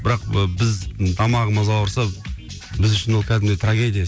бірақ ы біз тамағымыз ауырса біз үшін ол кәдімгідей трагедия